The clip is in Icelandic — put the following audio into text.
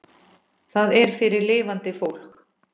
Það er fyrir lifandi fólk.